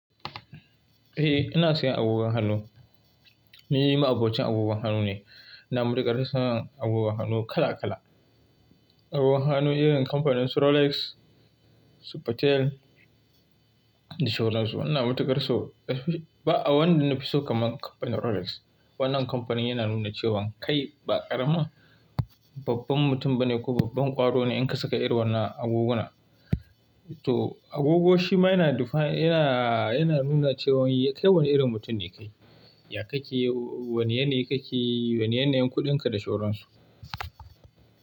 Eh ina sayan agogon hannu. Ni ma'abocin agogon hannu ne, ina mutuƙar son agogon hannu kala kala. Agogon hannu irin kamfaninsu Rolex, Supertel da sauransu. Ina mutuƙar so, ba wanda na fi so kamar kamfanin Rolex. Wannan kamfanin yana nuna cewan kai ba ƙaramin babban mutum bane ko babban ƙwaro ne in ka saka irin wannan agogona. To agogo shi ma yana defa-- yana, yana nuna cewan kai wane irin mutum ne kai. Ya kake yi, wane yanayi kake yi, wane yanayin kuɗinka da sauransu.